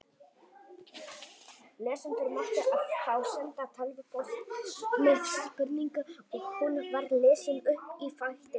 Lesendur máttu þá senda tölvupóst með spurningu og hún var lesin upp í þættinum.